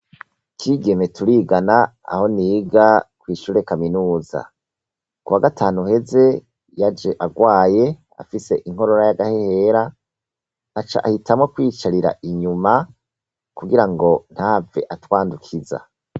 Kigeme turigana aho niga ishure kaminuza, kuwa gatanu uheze yaje arwaye afise inkorora y'agahehera aca ahitamwo kwiyicarira inyuma kugira ngo ntahave atwandukiza.